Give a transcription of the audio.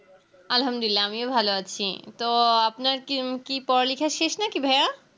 আলহাম দুলিল্লা আমিও ভালো আছি তো আপনার কি হম কি পড়ালেখা শেষ নাকি ভাইয়া